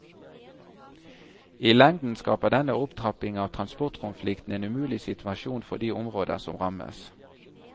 I lengden skaper denne opptrapping av transportkonflikten en umulig situasjon for de områder som rammes.